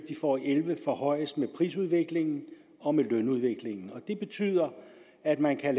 og elleve forhøjes med prisudviklingen og med lønudviklingen og det betyder at man kan